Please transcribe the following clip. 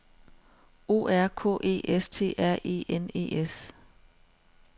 O R K E S T R E N E S